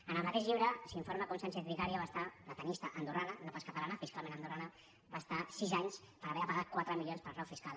en el mateix llibre s’informa com sánchez vicario va estar la tennista andorrana no pas catalana fiscalment andorrana sis anys per haver de pagar quatre milions per frau fiscal